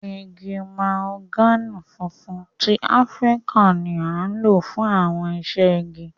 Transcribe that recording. Igi mahogani funfun ti Afirika ni a lo fun awọn iṣẹ-igi.